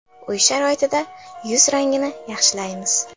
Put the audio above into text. Uy sharoitida yuz rangini yaxshilaymiz.